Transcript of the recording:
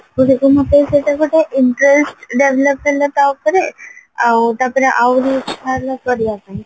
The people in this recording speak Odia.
ଶିଖୁ ଶିଖୁ ମତେ ସେଇଟା ଗୋଟେ interest ଲାଗିଲା ତାଉପରେ ଆଉ ତାପରେ ଆହୁରି ଇଚ୍ଛା ହେଲା କରିବା ପାଇଁ